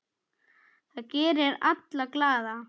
Það gerir alla glaða.